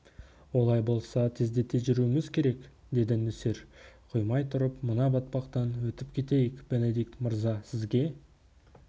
олай болса тездете жүруіміз керек деді нөсер құймай тұрып мына батпақтан өтіп кетейік бенедикт мырза сізге